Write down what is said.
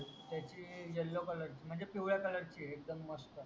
त्याची YELLOWCOLOUR ची म्हणजे पिवड्या ची आहे एकडूम मस्त